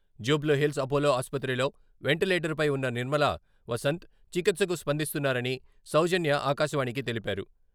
జూబ్లీహిల్స్ అపోలో ఆస్పత్రిలో వెంటిలేటర్పై ఉన్న నిర్మలా వసంత్ చికిత్సకు స్పందిస్తున్నారని సౌజన్య ఆకాశవాణికి తెలిపారు.